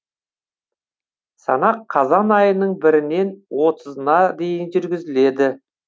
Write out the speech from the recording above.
санақ қазан айының бірінен отызына дейін жүргізіледі